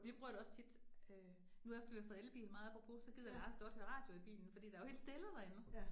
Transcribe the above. Vi bruger det også tit øh nu efter vi har fået elbil meget apopros, så gider Lars godt høre radio i bilen fordi der helt stille derinde